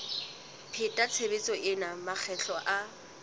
pheta tshebetso ena makgetlo a